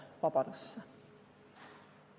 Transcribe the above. Vabadusse.